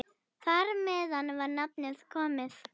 Þar með var nafnið komið.